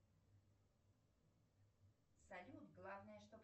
салют главное чтоб